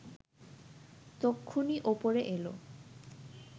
তক্ষুনি ওপরে এলো